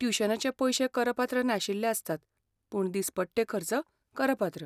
ट्युशनाचे पयशे करपात्र नाशिल्ले आसतात, पूण दिसपट्टे खर्च करपात्र.